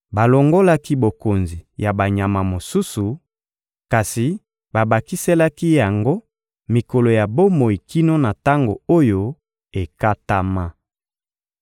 Balongolaki bokonzi ya banyama mosusu, kasi babakiselaki yango mikolo ya bomoi kino na tango oyo ekatama.